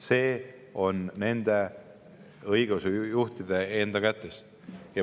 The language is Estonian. See on õigeusujuhtide enda kätes.